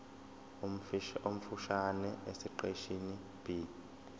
omfushane esiqeshini b